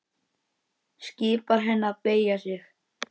Skipar henni að beygja sig.